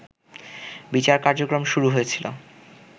বিচার কার্যক্রম শুরু হয়েছিল